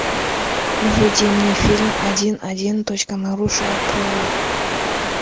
выведи мне фильм один один точка нарушая правила